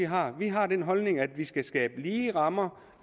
har vi har den holdning at der skal skabes lige rammer